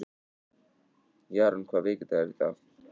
Jarún, hvaða vikudagur er í dag?